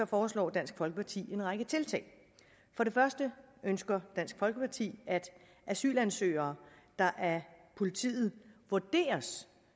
foreslår dansk folkeparti en række tiltag for det første ønsker dansk folkeparti at asylansøgere der af politiet vurderes